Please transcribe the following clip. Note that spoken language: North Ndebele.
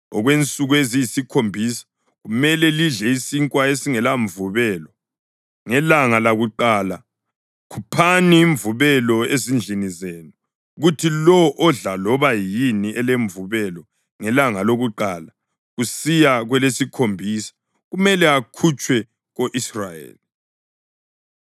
Okwensuku eziyisikhombisa kumele lidle isinkwa esingelamvubelo. Ngelanga lakuqala khuphani imvubelo ezindlini zenu, kuthi lowo odla loba yini elemvubelo ngelanga lakuqala kusiya kwelesikhombisa kumele akhutshwe ko-Israyeli.